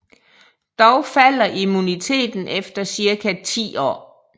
Dog falder immuniteten efter cirka ti år